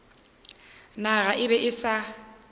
naga e be e sa